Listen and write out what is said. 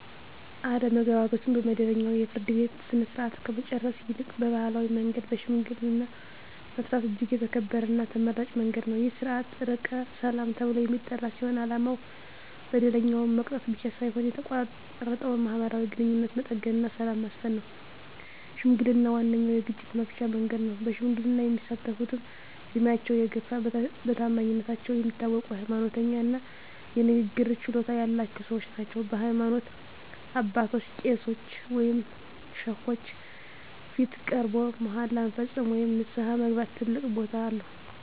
አለመግባባቶችን በመደበኛው የፍርድ ቤት ሥርዓት ከመጨረስ ይልቅ በባሕላዊ መንገድ በሽምግልና መፍታት እጅግ የተከበረና ተመራጭ መንገድ ነው። ይህ ሥርዓት "ዕርቀ ሰላም" ተብሎ የሚጠራ ሲሆን፣ ዓላማው በደለኛውን መቅጣት ብቻ ሳይሆን የተቋረጠውን ማኅበራዊ ግንኙነት መጠገንና ሰላምን ማስፈን ነው። ሽምግልና ዋነኛው የግጭት መፍቻ መንገድ ነው። በሽምግልና የሚሳተፍትም ዕድሜያቸው የገፋ፣ በታማኝነታቸው የሚታወቁ፣ ሃይማኖተኛ እና የንግግር ችሎታ ያላቸው ሰዎች ናቸው። በሃይማኖት አባቶች (ቄሶች ወይም ሼኮች) ፊት ቀርቦ መሃላ መፈጸም ወይም ንስሐ መግባት ትልቅ ቦታ አለው።